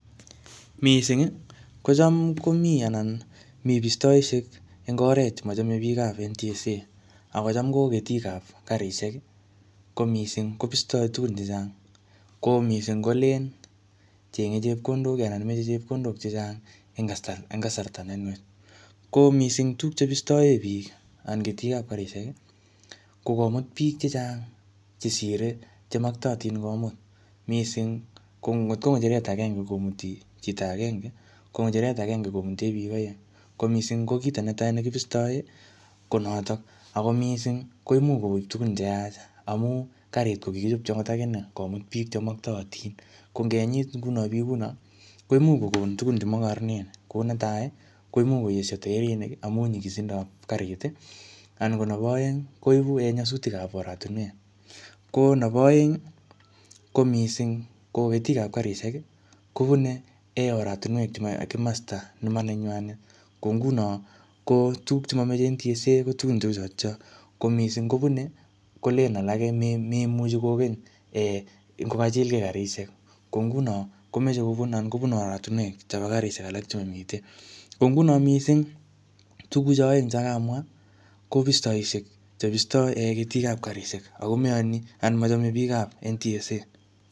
Missing kochom komi anan mi bistausiek en oret chemochome biik ab NTSA ako chom ko ketik ab karisiek ko mising ko bisto tugun chechang, ko missing ko lane cheng'e anan moche chepkondok anan moche chepkondok chechang en kasarta nenwach, ko missing tuguk chebistoen biik anan ketik ab karit ko komut biik chechang' chesire chemoktootin komut missing ngotkong'echeret agenge komuti chito agenge ko ng'echeret agenge komuti biik oeng, ko missing kiit age nekibistoen ko noton, ako missing koimuch kogon tugun cheyach amun karit kokigichobji ogot aginee komut biik chemoktootin, ko ingenyit biik kounon koimuch kogon tugun chemokororon, ko netai koimuch koesyo taerinik amun nyigisindab kariit, anan ko nebo oeng koibu nyasutik ab oretunuek, ko nebo oeng ko ketik ab karit kobune komosto nemanenywanet, ko inguno tuguk chemomoche NTSA ko tugun cheuchon, ko missing kobune kolelen alak moimuche kogany ingokachilgee karisiek ko ingunon kobune oratinuek chebo karisiek alak chemomiten, ko ingunon missing tuguchon oeng chon karamwaa ko bistousiek chebisto ketik ab karisiek ako moyoni anan mochome biikab NTSA.